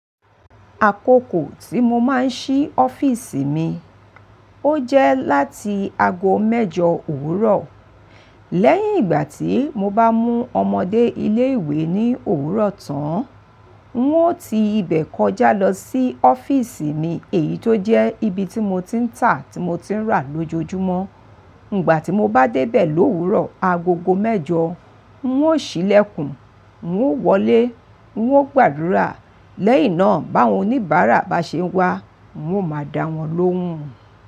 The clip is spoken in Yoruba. Àkókò tí mo máa ń ṣí ọ́fíísì mi, ó jẹ́ láti ago mẹ́jọ òwúrọ̀. Lẹ́yìn ìgbà tí mo bá mú ọmọdé ilé ìwé ní òwúrọ̀ tán, ń ó ti ibẹ̀ kọjá lọ sí ọ́fíísì mi èyí tó jẹ́ ibi tí mo ti ń tà tí mo ti ń rà lójoojúmọ́. Ìgbà tí mo bá dé bẹ̀ ló òwúrọ̀ agogo mẹ́jọ, ń ó ṣílẹ̀kùn, ń ó wọlé, ń ó gbàdúrà. Lẹ́yìn náà bá àwọn oníbàárà bá ṣe wá, mo máa dá wọn lóhùn.